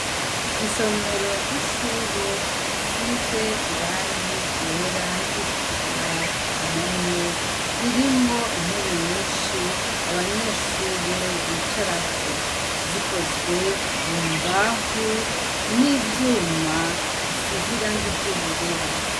Isomero ry'ishure risize irangi ryera niritukura kumpome ririmwo intebe nyishi abanyeshure bicarako zikozwe mumbaho n'ivyuma bisize irangi ry'ubururu